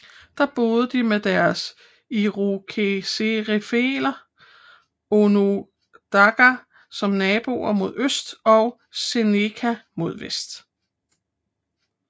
Der boede de med deres irokeserfæller onondaga som naboer mod øst og seneca mod vest